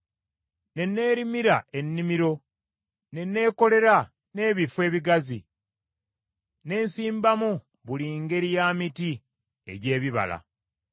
Ne neerimira ennimiro, ne neekolera n’ebifo ebigazi, ne nsimbamu buli ngeri ya miti egy’ebibala.